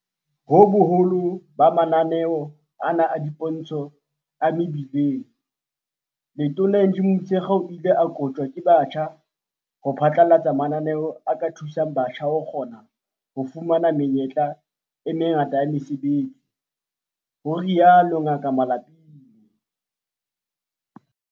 Ho boholo ba mananeo ana a dipontsho a mebileng, Letona Angie Motshekga o ile a koptjwa ke batjha ho phatlalatsa mananeo a ka thusang batjha ho kgona ho fumana menyetla e mengata ya mesebetsi, ho rialo Ngaka Malapile.